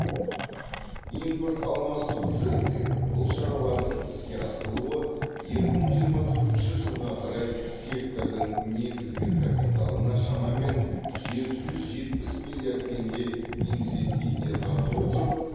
импорт алмастыру жөніндегі бұл шаралардың іске асырылуы екі мың жиырма төртінші жылға қарай сектордың негізгі капиталына шамамен жеті жүз жетпіс миллиард теңге инвестиция тарта отырып